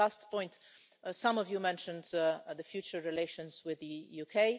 Last point some of you mentioned the future relations with the UK.